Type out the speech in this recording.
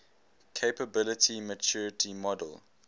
capability maturity model